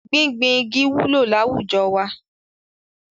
Gbíngbin igi wúlò láwùjọ wa.